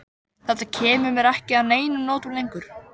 Þetta kemur mér ekki að neinum notum lengur.